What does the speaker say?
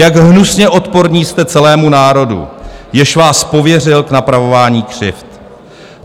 Jak hnusně odporní jste celému národu, jenž vás pověřil k napravování křivd.